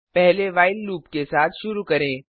पहले while loop के साथ शुरू करें